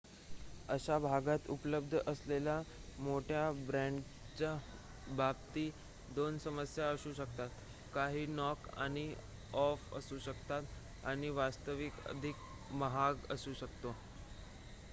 अशा भागात उपलब्ध असलेल्या मोठ्या ब्रँडच्या बाबतीत 2 समस्या असू शकतात काही नॉक ऑफ असू शकतात आणि वास्तविक अधिक महाग असू शकतात